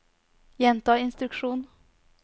gjenta instruksjon